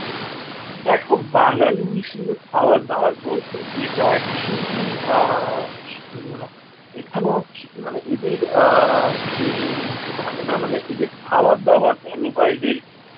দেখো বাঙালি হিসেবে খাবার দাবার বলতে এটা actually আ এখানেও একচু মানে আহ এদের আহ যে বলে না মানে এদের খাবার দাবার বল বা এদের